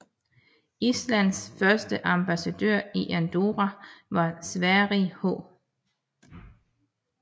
Islands første ambassadør i Andorra var Sverrir H